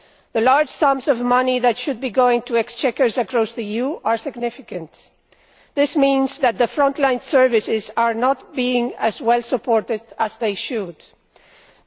The large sums of money lost, which should be going to exchequers across the EU, are significant, and this means that front line services are not being as well supported as they should be.